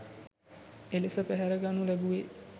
එලෙස පැහැරගනු ලැබුවේ